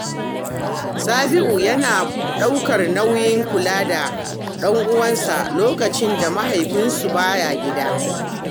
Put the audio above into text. Sabiu yana ɗaukar nauyin kula da ɗan'uwansa lokacin da mahaifinsu ba ya gida.